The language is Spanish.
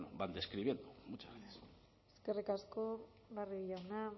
van describiendo muchas gracias eskerrik asko barrio jauna